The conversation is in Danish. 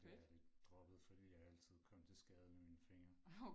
Men det har jeg lidt droppet fordi jeg altid kom til skade med mine fingre